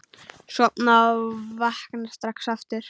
Sofna og vakna strax aftur.